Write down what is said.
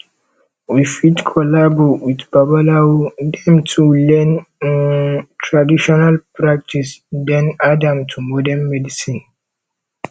we fit collabo with babalawo dem to learn um traditional practice then add am to modern medicine